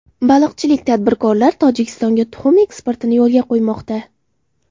Baliqchilik tadbirkorlar Tojikistonga tuxum eksportini yo‘lga qo‘ymoqda.